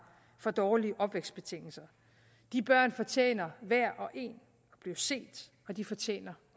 for dårlige opvækstbetingelser de børn fortjener hver og en at blive set og de fortjener